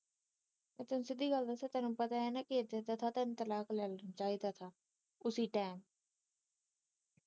ਮੈ ਤੈਨੂੰ ਸਿੱਧੀ ਗੱਲ ਦਸਾ ਤੈਨੂੰ ਪਤਾ ਏ ਨਾ ਕੇ ਏਦਾਂ ਏਦਾਂ ਕਰਦਾ ਆ ਤੈਨੂੰ ਤਲਾਕ ਲੈ ਲੈਣਾ ਚਾਹੀਦਾ ਉਸੀ ਟੈਮ